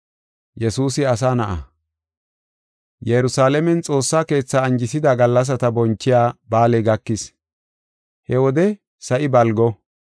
Yerusalaamen Xoossa Keetha anjisida gallasata bonchiya ba7aaley gakis; he wode sa7i balgo.